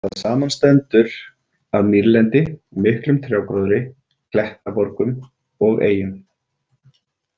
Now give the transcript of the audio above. Það samanstendur af mýrlendi, miklum trjágróðri, klettaborgum og eyjum.